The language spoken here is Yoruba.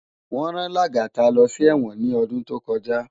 Wón rán Lagata lò si èwòn ni òdún tókòjá